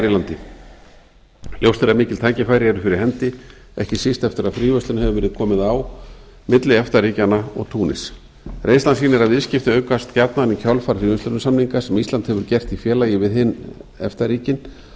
í landi ljóst er að mikil tækifæri eru fyrir hendi ekki síst eftir að fríverslun hefur verið komið á milli efta ríkjanna og túnis reynslan sýnir að viðskipti aukast gjarnan í kjölfar fríverslunarsamninga sem ísland hefur gert í félagi við hin efta ríkin og